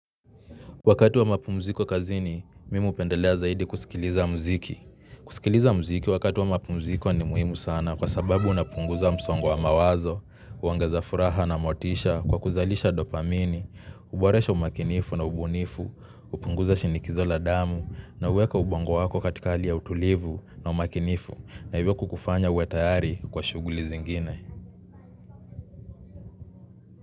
Wakati wa mapumziko kazini, mimi hupendelea zaidi kusikiliza mziki. Kusikiliza mziki wakati wa mapumziko ni muhimu sana kwa sababu unapunguza msongo wa mawazo, huongeza furaha na motisha kwa kuzalisha dopamini, hboresha umakinifu na ubunifu, hupunguza shinikizo la damu na huweka ubongo wako katika hali ya utulivu na umakinifu na hivyo kukufanya uwe tayari kwa shuguli zingine.